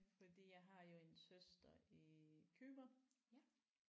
Fordi jeg har jo en søster i Cypern